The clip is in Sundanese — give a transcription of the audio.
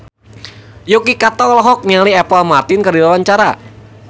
Yuki Kato olohok ningali Apple Martin keur diwawancara